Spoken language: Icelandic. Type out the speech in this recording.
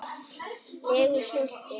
legu stolti.